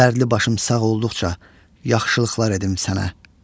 Dərdli başım sağ olduqca yaxşılıqlar edim sənə.